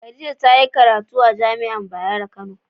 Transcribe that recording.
Khadijah ta yi karatu amajai'a Bayero kano